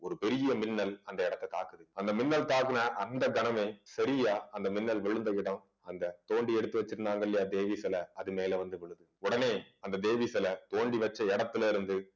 பெரிய மின்னல் அந்த இடத்தை தாக்குது அந்த மின்னல் தாக்குன அந்த கணமே சரியா அந்த மின்னல் விழுந்த இடம் அந்த தோண்டி எடுத்து வச்சிருந்தாங்க இல்லையா தேவி சிலை அது மேல வந்து விழுது உடனே அந்த தேவி சிலை தோண்டி வச்ச இடத்திலிருந்து